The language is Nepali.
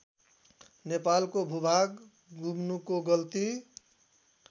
नेपालको भूभाग गुम्नुको गल्ती